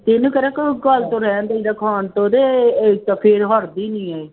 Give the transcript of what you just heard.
ਇਹਨੂੰ ਕਿਹੜਾ ਕੋਈ ਗੱਲ ਤੋਂ ਰਹਿਣ ਦੇਈਦਾ ਖਾਣ ਤੋਂ ਇਹਦੇ ਇਹ ਫਿਰ ਹਟਦੀ ਨੀ ਹੈ ਇਹ।